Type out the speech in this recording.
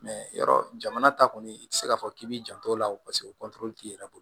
yɔrɔ jamana ta kɔni i ti se k'a fɔ k'i b'i janto o la paseke t'i yɛrɛ bolo